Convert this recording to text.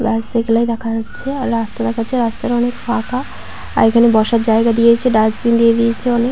রাস্তায় গেলে দেখা যাচ্ছে আর রাস্তা দেখা যাচ্ছে রাস্তাটা অনেক ফাঁকা আর এখানে বসার জায়গা দিয়েছে ডাস্টবিন দিয়ে দিয়েছে অনেক-